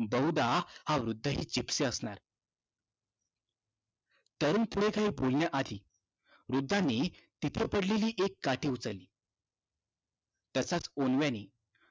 बहुधा हा वृद्धही जिप्सी असणार. तरुण पुढे काही बोलण्याआधी वृद्धानी तिथे पडलेली एक काठी उचलली. तसाच ओंडव्यानी